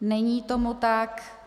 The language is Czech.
Není tomu tak.